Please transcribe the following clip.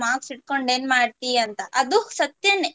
marks ಇಟ್ಕೊಂಡು ಏನ್ ಮಾಡ್ತಿ ಅಂತ ಅದು ಸತ್ಯನೇ.